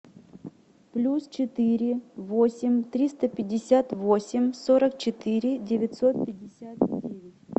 плюс четыре восемь триста пятьдесят восемь сорок четыре девятьсот пятьдесят девять